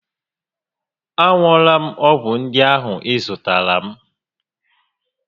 A ṅụọla m ọgwụ ndị ahụ ị zụtaara m